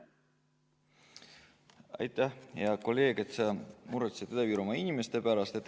Aitäh, hea kolleeg, et sa muretsed Ida-Virumaa inimeste pärast!